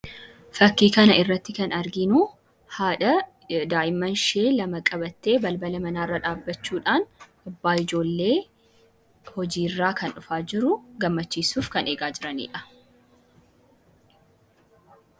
Fakkii kana irratti kan arginu haadha daa'immanshee lama qabattee balbala manaarra dhaabachuudhaan abbaa ijoollee hojii irraa kan dhufaa jiru gammachiisuuf kan eegaa jiranii dha.